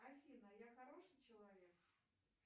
афина я хороший человек